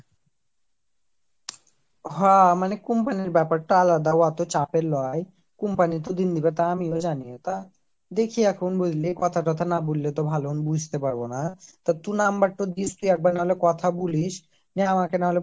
হঃ মানে company ব্যাপারটা আলাদা উহাতো চাপের লই company তো দিল্লি কথা আমিও জানি তা দেখি এখন বুঝলি কথা টথা না বললেই তো ভালো আমি ভালো বুঝতে পারবো না টা তুই number টো দিস একবার না কথা বলিস না আমাকে নাহলে